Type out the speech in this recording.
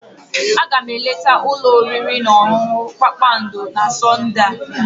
Aga m eleta ụlọ oriri na ọṅụṅụ kpakpando na Sọnde a.